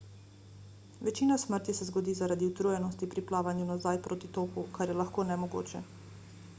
večina smrti se zgodi zaradi utrujenosti pri plavanju nazaj proti toku kar je lahko nemogoče